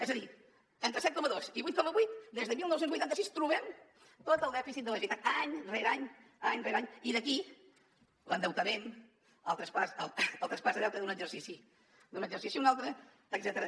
és a dir entre set coma dos i vuit coma vuit des de dinou vuitanta sis trobem tot el dèficit de la generalitat any rere any any rere any i d’aquí l’endeutament el traspàs de deute d’un exercici a un altre etcètera